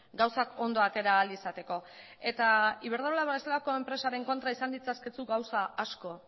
gauzak ondo atera ahal izateko eta iberdrola bezalako enpresaren kontra izan ditzakezu gauza asko